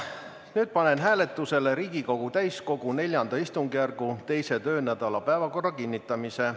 Nüüd panen hääletusele Riigikogu täiskogu IV istungjärgu teise töönädala päevakorra kinnitamise.